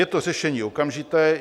Je to řešení okamžité.